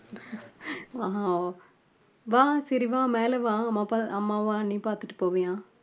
அஹ் வா சரி வா மேல வா அம்மா அப்பா அம்மாவும் அண்ணியும் பாத்துட்டு போவியாம்